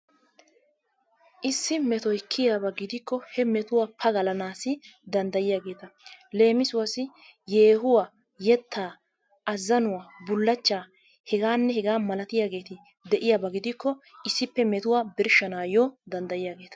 Issi metoy kiyiyaba gidikko he metuwa pagalanaassi danddayiyageeta. Leemisuwassi yeehuwa, yettaa, azzanuwa, bullachchaa hegaanne hegaa malatiyageeti de'iyaba gidikko issippe metuwa birshshanaayyo danddayiyageeta.